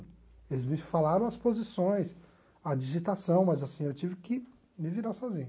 Eles me falaram as posições, a digitação, mas assim, eu tive que me virar sozinho.